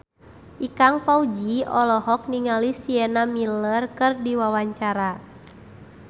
Ikang Fawzi olohok ningali Sienna Miller keur diwawancara